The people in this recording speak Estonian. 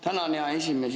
Tänan, hea esimees!